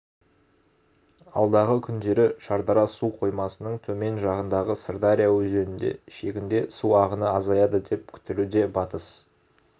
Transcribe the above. алдағы күндері шардара су қоймасының төмен жағындағы сырдария өзенінде шегінде су ағыны азаяды деп күтілуде батыс